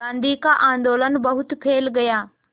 गांधी का आंदोलन बहुत फैल गया